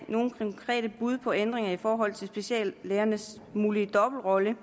konkrete bud på ændringer i forhold til speciallægernes mulige dobbeltrolle